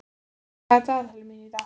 Jörvar, hvað er í dagatalinu mínu í dag?